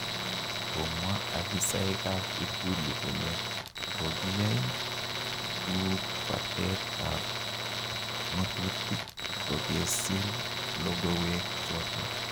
Komwa afisaek ab ikulu kole kogiyai tuupatet ab ngotutik kogesiir logowee choton.